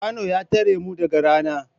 Kwano na tare mu daga rana